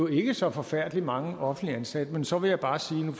ikke så forfærdelig mange offentligt ansatte men så vil jeg bare sige